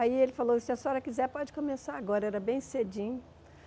Aí ele falou, se a senhora quiser pode começar agora, era bem cedinho.